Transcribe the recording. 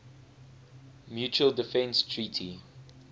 mutual defense treaty